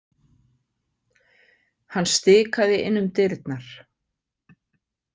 Hann stikaði inn um dyrnar.